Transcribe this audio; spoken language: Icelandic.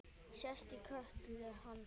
Sest í kjöltu hans.